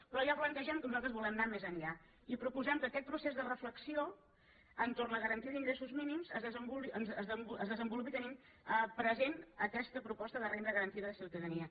però ja plantegem que nosaltres volem anar més enllà i proposem que aquest procés de reflexió entorn de la garantia d’ingressos mínims es desenvolupi tenint present aquesta proposta de renda garantida de ciutadania